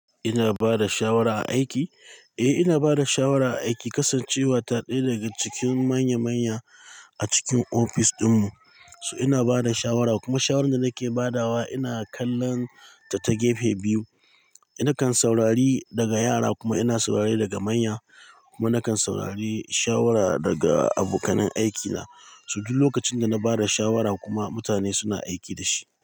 Ina bada shawara a aiki? Eh ina bada shawara a aiki, kasancewa ta ɗaya daga cikin manya manya a cikin ofis ɗinmu. So ina bada shawara kuma shawarar da nake badawa ina kallon ta ta gefe biyu. Nakan saurari daga yara kuma ina saurari daga manya kuma nakan saurari shawara daga abokanan aikina. So duk lokacin da na bada shawara kuma mutane suna aiki da shi.